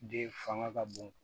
Den fanga ka bon